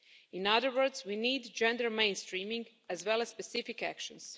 In other words, we need gender mainstreaming as well as specific actions.